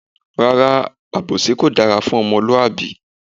Rárá, àbòsí kò dára fún ọmọlúwàbí.